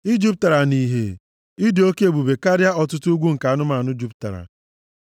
Ị jupụtara nʼìhè, ị dị oke ebube karịa ọtụtụ ugwu nke anụmanụ jupụtara.